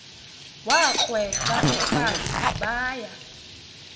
wakrweca umfazi baya